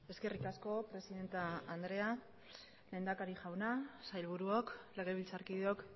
eskerrik asko presidente andrea lehendakari jauna sailburuok legebiltzarkideok